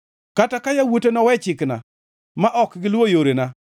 “Kata ka yawuote nowe chikna ma ok giluwo yorena,